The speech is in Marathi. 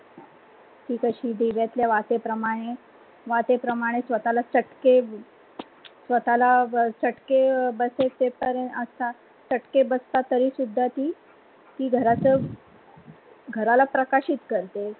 ती कसे दिव्यातल्या वातीप्रमाणे स्वतःला चटके स्वतःला चटके बसतात तरी ती घराला प्रकाशित करते.